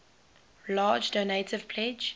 large donative pledge